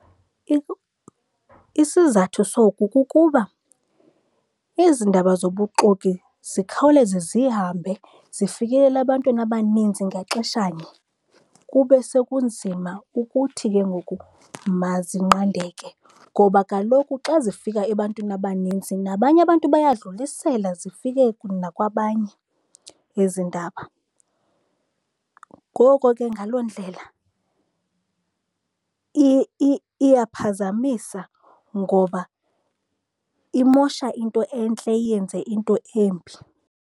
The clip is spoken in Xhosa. Isizathu soku kukuba ezi ndaba zobuxoki zikhawuleze zihambe zifikelele ebantwini abaninzi ngaxeshanye. Kube sekunzima ukuthi ke ngoku mazinqandeke, ngoba kaloku xa zifika ebantwini abanintsi nabanye abantu bayadlulisela, zifike nakwabanye ezi ndaba. Ngoko ke ngaloo ndlela iyaphazamisa ngoba imosha into entle iyenze into embi.